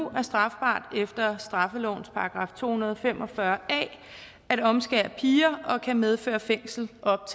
er strafbart efter straffelovens § to hundrede og fem og fyrre a at omskære piger og kan medføre fængsel i op